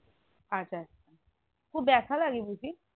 আচ্ছা আচ্ছা খুব বেথা লাগে বুঝি